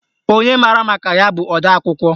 Onye maara maka ya bụ odeakwụkwọ